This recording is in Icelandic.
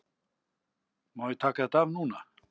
Má ég taka þetta af núna?